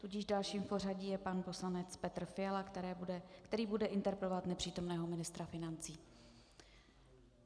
Tudíž dalším v pořadí je pan poslanec Petr Fiala, který bude interpelovat nepřítomného ministra financí.